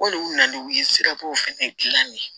Olu na n'u ye sirabaw fɛnɛ dilan de ye